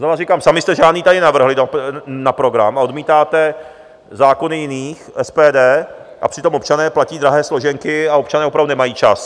Znova říkám, sami jste žádný tady nenavrhli na program a odmítáte zákony jiných, SPD, a přitom občané platí drahé složenky a občané opravdu nemají čas.